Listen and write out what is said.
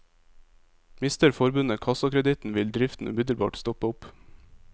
Mister forbundet kassakreditten, vil driften umiddelbart stoppe opp.